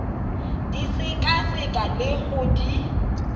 di sekaseka le go di